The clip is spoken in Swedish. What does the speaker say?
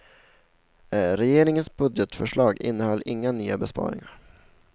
Regeringens budgetförslag innehöll inga nya besparingar.